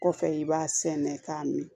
Kɔfɛ i b'a sɛnɛ k'a mi